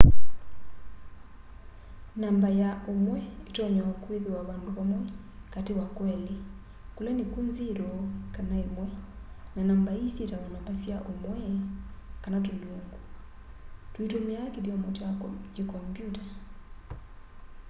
namba ya ũmwe ĩtonya o kwĩthĩwa vandũ vamwe katĩ wa kwĩlĩ kũla nĩkw'o 0 kana 1 na namba ii syĩtawa namba sya ũmwe kana tũlungu tũitũmĩa kĩthyomo kya kĩ kombyũta